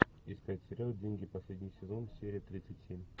искать сериал деньги последний сезон серия тридцать семь